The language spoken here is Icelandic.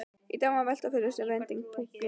Í dag má velta fyrir sér vendipunktinum.